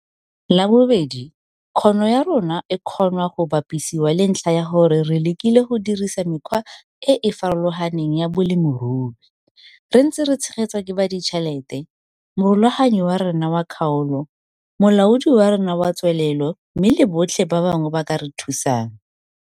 La bobedi, kgono ya rona e kgonwa go bapisiwa le ntlha ya gore re lekile go dirisa mekgwa e e farologaneng ya bolemirui, re ntse re tshegetswa ke baditšhelete, morulaganyi wa rona wa kgaolo, molaodi wa rona wa tswelelo mme le botlhe ba bangwe ba ba ka re thusang.